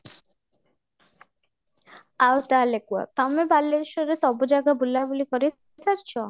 ଆଉ ତାହେଲେ କୁହ ତମେ ବାଲେଶ୍ୱରର ସବୁ ଜାଗା ବୁଲା ବୁଲି କରି ସାରିଛ?